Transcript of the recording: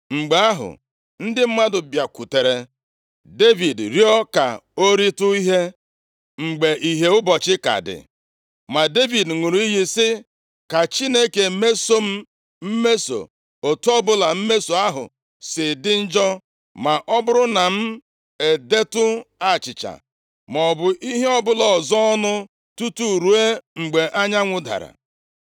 Mgbe ahụ, ndị mmadụ bịakwutere Devid rịọọ ka o ritụ ihe, mgbe ìhè ụbọchị ka dị, ma Devid ṅụrụ iyi sị, “Ka Chineke mesoo m mmeso, otu ọbụla mmeso ahụ si dị njọ, ma ọ bụrụ na m edetụ achịcha maọbụ ihe ọbụla ọzọ ọnụ tutu ruo mgbe anyanwụ dara.”